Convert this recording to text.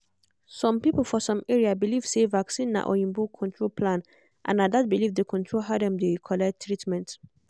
some people for some area believe say vaccine na oyinbo control plan and na that belief dey control how dem take collect treatment